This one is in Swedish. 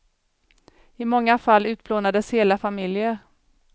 I många fall utplånades hela familjer.